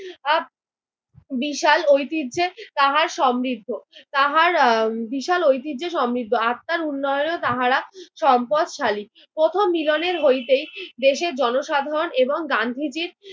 বিশাল ঐতিহ্যে তাহার সমৃদ্ধ তাহার আহ বিশাল ঐতিহ্যে সমৃদ্ধ। আত্মার উন্নয়নে তাহারা সম্পদশালী। প্রথম মিলনের হইতেই দেশের জনসাধারন এবং গান্ধীজির